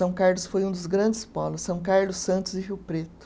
São Carlos foi um dos grandes polos, São Carlos, Santos e Rio Preto.